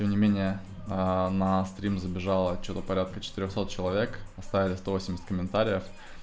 пойми меня а на стрим забежала что-то порядка четырёхсот человек оставили сто восемьдесят комментариев